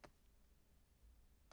(c) Nota, København 2015